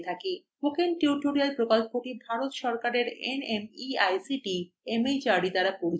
spoken tutorial প্রকল্পটি ভারত সরকারের nmeict mhrd দ্বারা পরিচালিত হয়